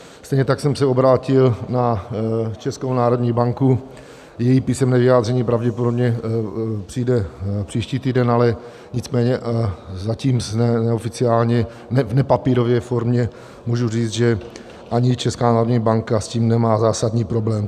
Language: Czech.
Stejně tak jsem se obrátil na Českou národní banku, její písemné vyjádření pravděpodobně přijde příští týden, ale nicméně zatím neoficiálně, v nepapírové formě, můžu říct, že ani Česká národní banka s tím nemá zásadní problém.